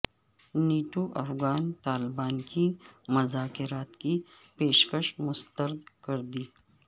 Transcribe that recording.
NATO نے افغان طالبان کی مذاکرات کی پیشکش مسترد کر دی